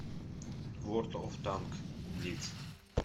ворд оф танкс блиц